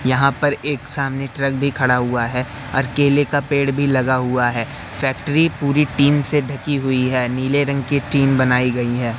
यहां पर एक सामने ट्रक भी खड़ा हुआ है और केले का पेड़ भी लगा हुआ है फैक्ट्री पूरी टीन से ढकी हुई है नीले रंग की टीन बनाई गई है।